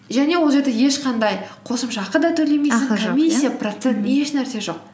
және ол жерде ешқандай қосымша ақы да комиссия процент еш нәрсе жоқ